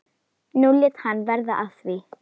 Nú lét hann verða af því.